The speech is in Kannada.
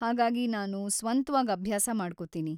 ಹಾಗಾಗಿ ನಾನು ಸ್ವಂತ್ವಾಗ್ ಅಭ್ಯಾಸ ಮಾಡ್ಕೋತೀನಿ.